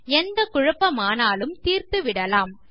எந்த குழப்பமானாலும் தீர்த்துவிடலாம்